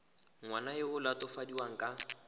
ngwana yo o latofadiwang ka